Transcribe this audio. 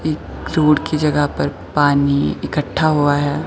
एक रोड की जगह पर पानी इकठ्ठा हुआ है।